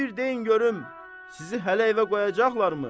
İndi bir deyin görüm, sizi hələ evə qoyacaqlarmı?